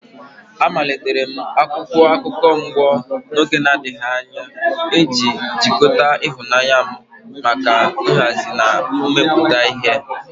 Amalitere m akwụkwọ akụkọ mgbo n'oge na-adịbeghị anya iji jikọta ịhụnanya m maka nhazi na imepụta ihe.